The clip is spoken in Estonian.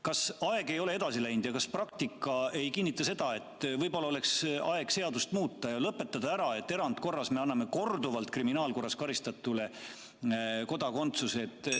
Kas aeg ei ole edasi läinud ja kas praktika ei kinnita seda, et võib-olla oleks aeg seadust muuta ja lõpetada ära see, et me erandkorras anname korduvalt kriminaalkorras karistatule kodakondsuse?